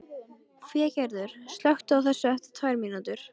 Végerður, slökktu á þessu eftir tvær mínútur.